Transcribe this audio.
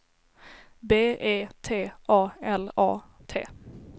B E T A L A T